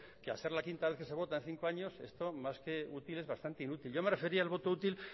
que al ser la quinta vez que se vota en cinco años esto más que útil es bastante inútil yo me refería al voto útil